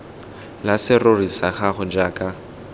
la serori sa gago jaaka